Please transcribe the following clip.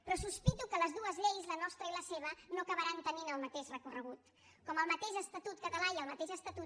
però sospito que les dues lleis la nostra i la seva no acabaran tenint el mateix recorregut com el mateix estatut català i el mateix estatut